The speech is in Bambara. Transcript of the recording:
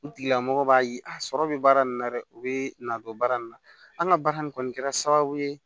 O tigilamɔgɔ b'a ye a sɔrɔ bɛ baara nin na dɛ u bɛ na don baara nin na an ka baara nin kɔni kɛra sababu ye